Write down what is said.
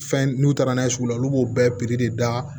Fɛn n'u taara n'a ye sugu la olu b'o bɛɛ de da